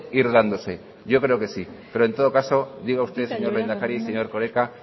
ir dándose yo creo que sí pero en todo caso diga usted señor lehendakari señor erkoreka